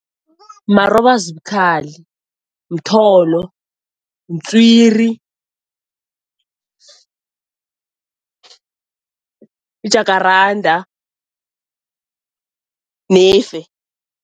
Marobazibukhali, mtholo, mtswiri, i-jacarada nefe.